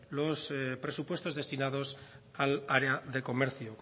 los presupuestos destinados al área de comercio